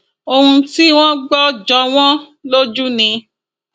ohun tí wọn gbọ jọ wọn lójú ni